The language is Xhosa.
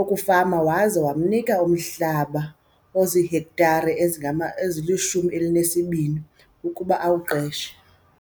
okufama waza wamnika umhlaba ozihektare ezili-12 ukuba awuqeshe.